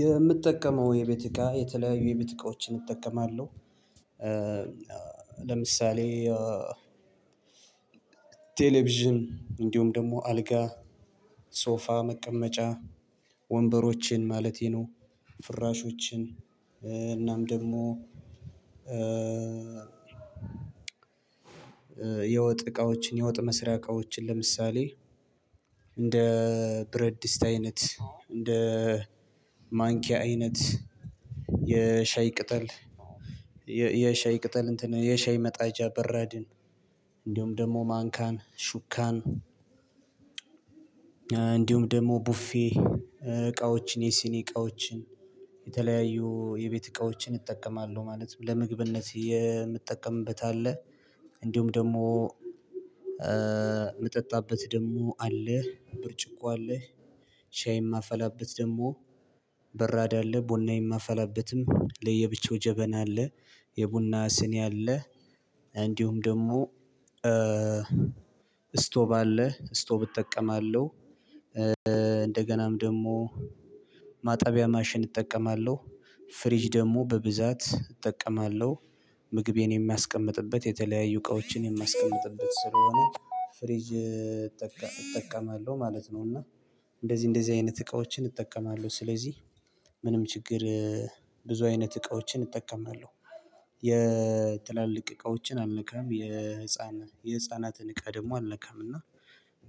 የምትጠቀመው የቤት እቃ የተለያዩ የቤት እቃዎችን እጠቀማለሁ። ለምሳሌ ቴሌቪዥን እንዲሁም ደግሞ አልጋ ሶፋ መቀመጫ ወንበሮችን ማለቴ ነው። ፍራሾችን እናም ደግሞ የወጥ እቃዎችን የወጥ መስሪያ እቃዎችን። ለምሳሌ እንደ ብረድስት አይነት እንደ ማንኪያ አይነት የሻይ ቅጠል የሻይ ቅጠል እንትን የሻይ መጣጃ በረድን እንደውም ደግሞ ማንካን ሹካን እንዲሁም ደግሞ ቡፌ እቃዎችን የሲኒ እቃዎችን የተለያዩ የቤት እቃዎችን እጠቀማለሁ ማለት ነው። ለምግብነት የምጠቀምበት አለ። እንዲሁም ደግሞ የምጠጣበት ደግሞ አለ። ብርጭቆ አለህ ሻይ የማፈላበት ደግሞ በራዳ አለ። ቡና የማፈላብትም ለየብቻው ጀበና አለ። የቡና ስኒ አለ። እንዲሁም ደግሞ እስቶቭ አለ እስቶቭ እጠቀማለሁ። እንደገናም ደግሞ ማጣቢያ ማሽን እጠቀማለሁ። ፍሪጅ ደግሞ በብዛት እጠቀማለሁ ምግቤን የሚያስቀምጥበት የተለያዩ እቃዎችን የሚያስቀምጥበት ስለሆነ ፍሪጅ እጠቀማለሁ ማለት ነው። እና እንደዚህ እንደዚህ አይነት እቃዎችን እጠቀማለሁ። ስለዚህ ምንም ችግር ብዙ አይነት እቃዎችን እጠቀማለሁ። የትላልቅ እቃዎችን አልነካም የህፃን የህፃናትን እቃ ደግሞ አልነካም። እና